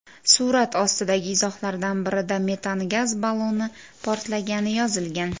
Surat ostidagi izohlardan birida metan gaz balloni portlagani yozilgan.